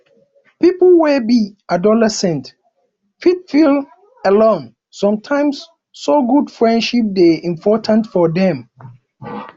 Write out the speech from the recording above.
pipo wey be adolescents fit feel alone sometimes so good friendships dey important for dem